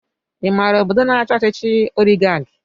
I maara ọbọdọ na-achi ọchịchị oligarki?